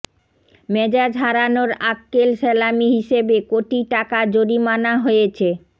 মেজাজ হারানোর আক্বেল সেলামি হিসেবে কোটি টাকা জরিমানা হয়েছে